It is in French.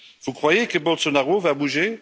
Vous croyez que Bolsonaro va bouger?